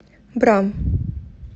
бра